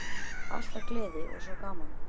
Alltaf gleði og svo gaman.